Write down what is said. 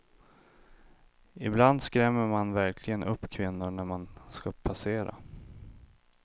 Ibland skrämmer man verkligen upp kvinnor när man ska passera.